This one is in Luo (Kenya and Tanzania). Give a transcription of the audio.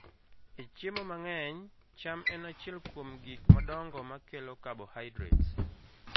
E chiemo mang'eny, cham en achiel kuom gik madongo ma kelo carbohydrates.